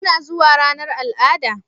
Kuna zuwa ranar al'ada?